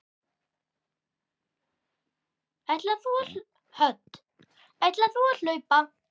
Hödd: Ætlar þú að hlaupa?